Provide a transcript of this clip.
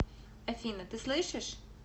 афина ты слышишь